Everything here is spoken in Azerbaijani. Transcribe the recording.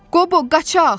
Qobo, qaçaq!